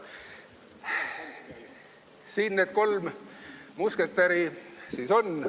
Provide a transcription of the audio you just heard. Siin need kolm musketäri siis on.